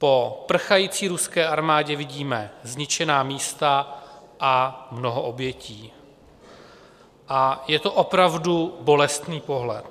Po prchající ruské armádě vidíme zničená místa a mnoho obětí a je to opravdu bolestný pohled.